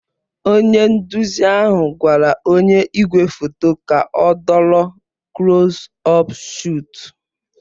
Onye nduzi ahụ gwara onye igwefoto ka ọ dọrọ kulos ọp shọtu